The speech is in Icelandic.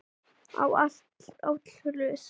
á, áll, hlust